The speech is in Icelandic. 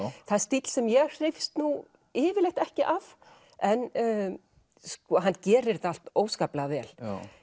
það er stíll sem ég hrífst nú yfirleitt ekki af en hann gerir þetta allt óskaplega vel